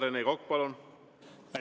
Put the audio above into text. Rene Kokk, palun!